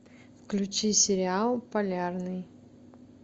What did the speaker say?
включи сериал полярный